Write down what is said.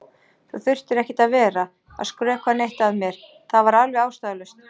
Þú þurftir ekkert að vera að skrökva neitt að mér, það var alveg ástæðulaust.